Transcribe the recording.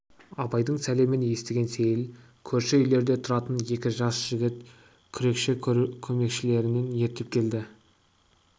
абайдың сәлемін естіген сейіл көрші үйлерде тұратын екі жас жігіт күрекші-көмекшілерін ертіп келді